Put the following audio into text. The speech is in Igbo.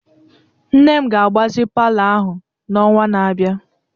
Nne m ga-agbazi palọ ahụ n'ọnwa na-abịa.